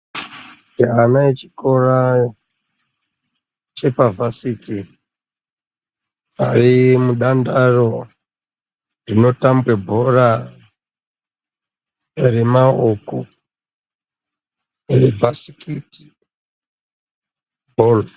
Vana vechikora chepavhasiti vari mudandaro rinotamba bhora remaoko bhasikiti bholi.